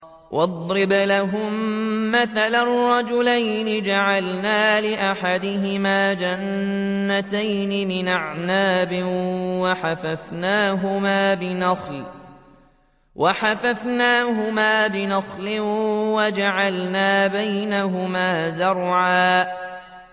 ۞ وَاضْرِبْ لَهُم مَّثَلًا رَّجُلَيْنِ جَعَلْنَا لِأَحَدِهِمَا جَنَّتَيْنِ مِنْ أَعْنَابٍ وَحَفَفْنَاهُمَا بِنَخْلٍ وَجَعَلْنَا بَيْنَهُمَا زَرْعًا